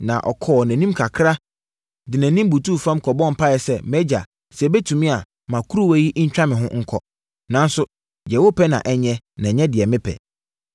Na ɔkɔɔ nʼanim kakra, de nʼanim kɔbutuu fam bɔɔ mpaeɛ sɛ, “MʼAgya, sɛ ɛbɛtumi a, ma kuruwa yi ntwa me ho nkɔ. Nanso, deɛ wopɛ na ɛnyɛ, na nyɛ deɛ mepɛ.”